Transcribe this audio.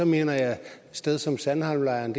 mener at et sted som sandholmlejren